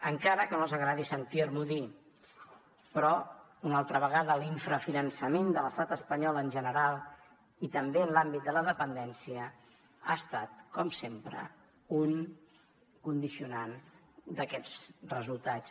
encara que no els agradi sentir m’ho dir però una altra vegada l’infrafinançament de l’estat espanyol en general i també en l’àmbit de la dependència ha estat com sempre un condicionant d’aquests resultats